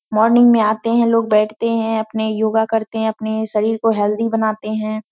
Morning में आते हैं लोग बैठते हैं अपने योगा करते हैं अपने शरीर को हेल्थी बनाते हैं।